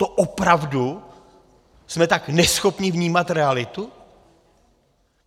To opravdu jsme tak neschopní vnímat realitu?